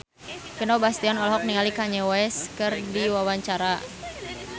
Vino Bastian olohok ningali Kanye West keur diwawancara